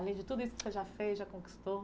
Além de tudo isso que você já fez, já conquistou.